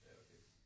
Ja okay